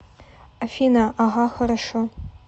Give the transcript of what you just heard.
афина ага хорошо